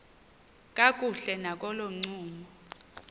kakuhle nakolo ncumo